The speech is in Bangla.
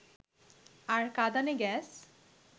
আর কাঁদানে গ্যাস